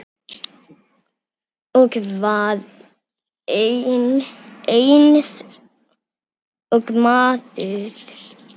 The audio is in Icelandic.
Og var eins og maður.